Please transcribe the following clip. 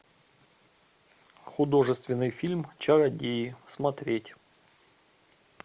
художественный фильм чародеи смотреть